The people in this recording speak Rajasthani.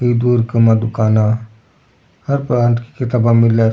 इ दूर की माँ दुकाना हर प्रकार की किताबें मिले है।